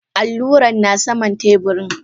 Al'luran na saman teburin.